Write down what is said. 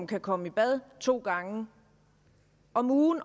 kan komme i bad to gange om ugen